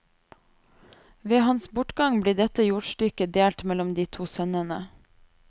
Ved hans bortgang blir dette jordstykket delt mellom de to sønnene.